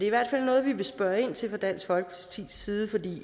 i hvert fald noget vi vil spørge ind til fra dansk folkepartis side for det